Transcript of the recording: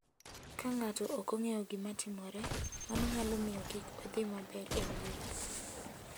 Ka ng'ato ok ong'eyo gima timore, mano nyalo miyo kik odhi maber e wuoth.